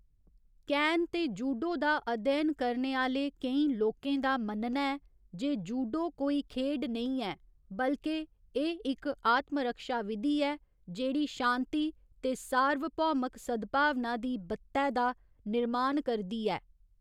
कैन ते जूडो दा अध्ययन करने आह्‌ले केईं लोकें दा मन्नना ऐ जे जूडो कोई खेढ नेईं ऐ, बल्के एह् इक आत्मरक्षा विधि ऐ, जेह्ड़ी शांति ते सार्वभौमक सद्भावना दी बत्तै दा निर्माण करदी ऐ।